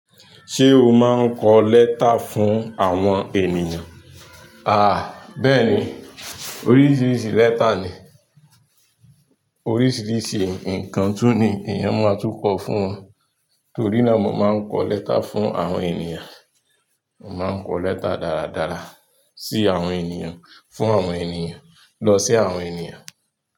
Ṣé o máa ń kọ lẹ́tà fún àwọn ènìyàn? Àh, bẹ́ẹ̀ni. Oríṣiríṣi lẹ́tà ni, oríṣiríṣi nǹkan tun ní èèyàn máa tún ko fún won, torí náà mo máa ń kọ lẹ́tà fún àwọn ènìyàn. Mo máa ń kọ lẹ́tà dáradára sí àwọn ènìyàn, fún àwọn ènìyàn, lọ sí àwọn ènìyàn.